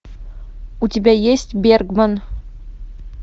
у тебя есть бергман